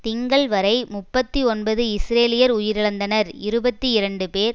திங்கள் வரை முப்பத்தி ஒன்பது இஸ்ரேலியர் உயிரிழந்தனர் இருபத்தி இரண்டு பேர்